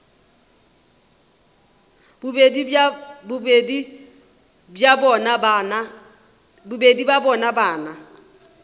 bobedi bja bona ba na